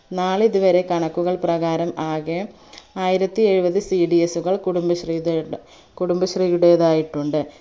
നാളിതുവരെ കണക്കുകൾ പ്രകാരം ആകെ ആയിരത്തിഎഴുപത് cds കൾ കുടുംബശ്രീ കുടുംബശ്രീയുടേതായിട്ടുണ്ട്